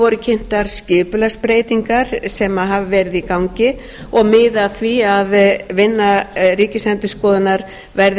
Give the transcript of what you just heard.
voru kynntar skipulagsbreytingar sem hafa verið í gangi og miða að því að vinna ríkisendurskoðunar verði